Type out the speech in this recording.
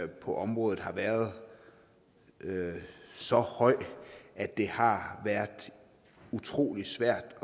på området har været så høj at det har været utrolig svært